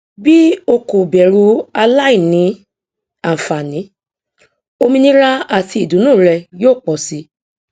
bí o kò bẹrù aláìní àǹfààní òmìnira àti ìdùnú rẹ yóò pọ sí